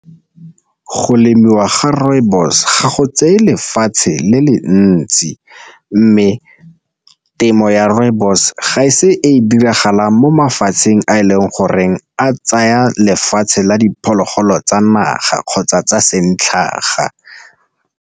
Go lemiwa ga rooibos ga go tseye lefatshe le le ntsi, mme temo ya rooibos ga e se e diragalang mo mafatsheng a e leng goreng a tsaya lefatshe la diphologolo tsa naga kgotsa tsa santlhaga.